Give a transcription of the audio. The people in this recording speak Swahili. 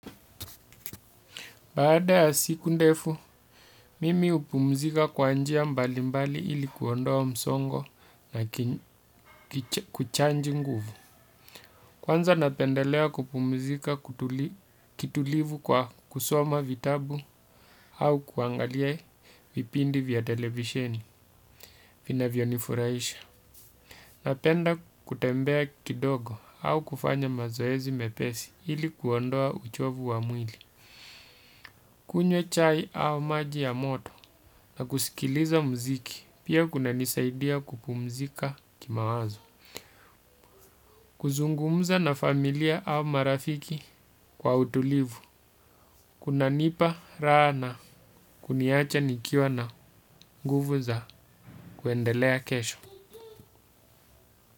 Baada ya siku ndefu, mimi hupumzika kwa njia mbalimbali ili kuondoa msongo na kuchaji nguvu. Kwanza napendelea kupumzika kitulivu kwa kusoma vitabu au kuangalia vipindi vya televisheni vinavyonifurahisha. Napenda kutembea kidogo au kufanya mazoezi mepesi ili kuondoa uchovu wa mwili. Kunywe chai au maji ya moto na kusikiliza muziki pia kunanisaidia kupumzika kimawazo. Kuzungumza na familia au marafiki kwa utulivu. Kunanipa raha na kuniacha nikiwa na nguvu za kuendelea kesho.